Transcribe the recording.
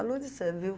A Lúcia, viu?